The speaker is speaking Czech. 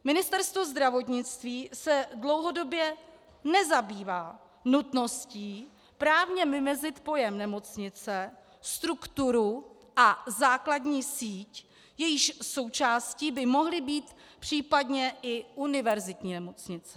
Ministerstvo zdravotnictví se dlouhodobě nezabývá nutností právně vymezit pojem nemocnice, strukturu a základní síť, jejíž součástí by mohly být případně i univerzitní nemocnice.